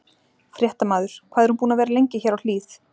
Fréttamaður: Hvað er hún búin að vera lengi hér á Hlíð?